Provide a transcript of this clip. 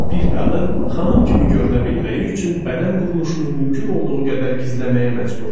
Bir qadın xanım kimi görünə bilməyi üçün bədən quruluşunu mümkün olduğu qədər gizləməyə məcbur idi.